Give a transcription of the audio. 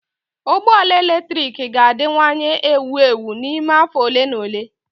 Ụgbọ ala eletrik ga-adịwanye ewu ewu n'ime afọ ole na ole.